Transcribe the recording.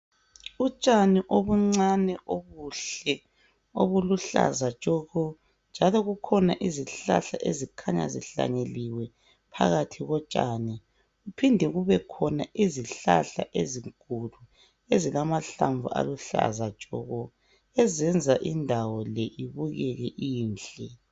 Utshani obuncane obuhle, obuluhlaza tshoko, njalo kukhona izihlahla ezikhanya zihlanyeliwe phakathi kotshani. Kuphinde kubekhona izihlahla ezinkulu ezilamahlamvu aluhlaza tshoko ezenza indawo le ibukeke inhle.